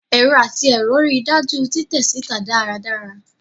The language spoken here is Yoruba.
Ẹrọ ati ẹrọ rii daju titẹ sita daradara